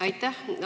Aitäh!